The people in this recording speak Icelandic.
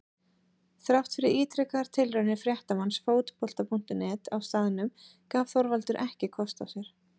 Þrátt fyrir ítrekaðar tilraunir fréttamanns Fótbolta.net á staðnum gaf Þorvaldur ekki kost á sér.